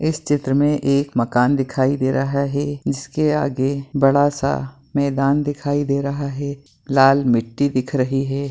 इस चित्र में एक मकान दिखाई दे रहा है इसके आगे बड़ा सा मैदान दिखाई दे रहा है लाल मिट्टी दिख रही हैं।